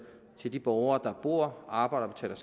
til de borgere der bor arbejder og